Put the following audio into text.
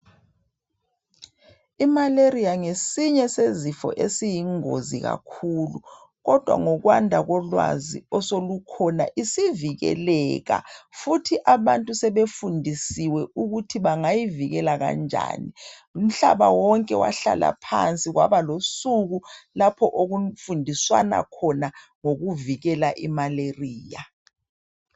i malaria ngesinye zezifo esiyingozi kakhulu kodwa ngokwanda kolwazi osolukhona isivikeleka futhi abantu sebefundisiwe ukuthi bangayivikela kanjani umhlaba wonke wahlala phansi kwaba losuku lapha okufundiswana khona ngokuvikela i malaria